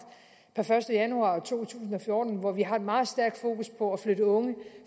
per første januar to tusind og fjorten hvor vi har et meget stærkt fokus på at flytte unge